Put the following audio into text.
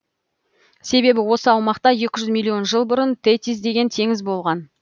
себебі осы аумақта екі жүз миллион жыл бұрын тетис деген теңіз болған